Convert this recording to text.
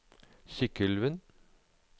Sykkylven